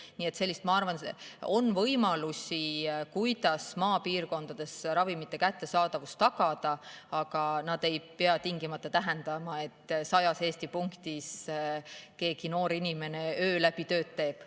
Nii et ma arvan, et on võimalusi, kuidas maapiirkondades ravimite kättesaadavust tagada, aga see ei pea tingimata tähendama, et sajas Eesti punktis keegi noor inimene öö läbi tööd teeb.